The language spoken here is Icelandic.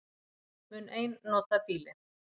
Mun ein nota bílinn